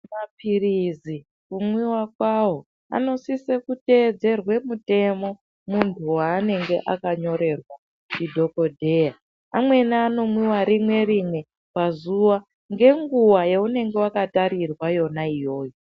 Maphirizi kumwiwa kwawo anosise kuteedzerwe mitemo munhu wanenge akanyorerwa ndidhokodheya, amweni anomwiwa rimwe rimwe pazuwa ngenguwa yaunenge wakatarirwa yona iyoyo.